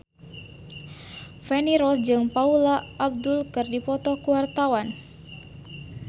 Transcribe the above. Feni Rose jeung Paula Abdul keur dipoto ku wartawan